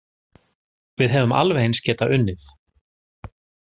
Við hefðum alveg eins getað unnið